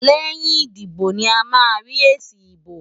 Lẹ́yìn ìdìbò ni a máa ń rí èsì ìbò.